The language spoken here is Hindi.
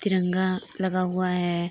तिरंगा लगा हुआ है।